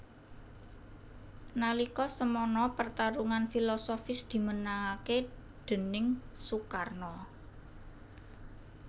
Nalika semana pertarungan filosofis dimenangaké déning Soekarno